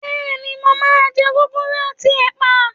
Bẹ́ẹ̀ni, mo máa jẹ gúgúrú àti ẹ̀pà